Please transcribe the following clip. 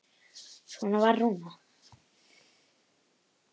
Svona var Rúna.